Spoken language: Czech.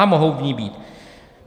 A mohou v ní být.